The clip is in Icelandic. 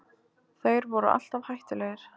Þeir voru alltaf hættulegir